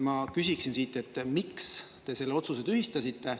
Ma küsiksin siit, et miks te selle otsuse tühistasite.